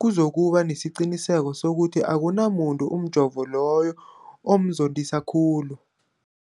kuzokuba nesiqiniseko sokuthi akunamuntu umjovo loyo omzondisa khulu.